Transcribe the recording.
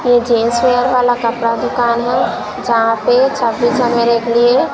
यह gents wear वाला कपड़ा दुकान है जहां पे छब्बीस जनवरी के लिए--